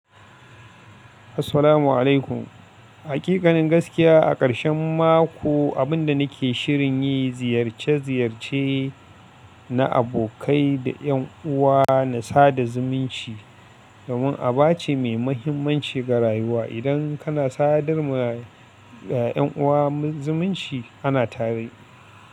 Assalamu alaikum. Hakikanin gaskiya a ƙarshen mako, abin da nake shirin yi ziyarce-ziyarce na abokai da yan uwa na sada zumunci. Domin aba ce mai mahimmanci ga rayuwa. Idan kana sadar ma da yan uwa zumunci ana tare.